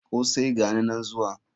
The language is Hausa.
Kosai!gani nan zuwa.